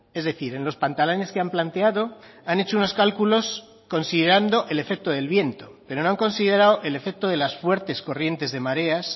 es decir en los pantalanes que han planteado han hecho unos cálculos considerando el efecto del viento pero no han considerado el efecto de las fuertes corrientes de mareas